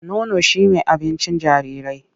Nono shi me abincin jarirai.